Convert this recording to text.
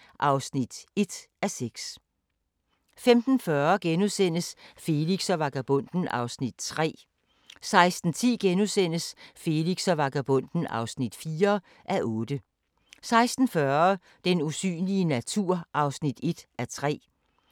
23:45: Den amerikanske mafia: Kongen af New York (3:8) 00:30: Hvor farligt er kød? * 01:15: Lægens dødelige eksperimenter (2:3) 02:15: Deadline Nat